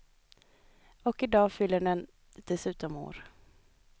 Och i dag fyller den dessutom år.